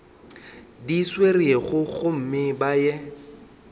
di swerego gomme ba ye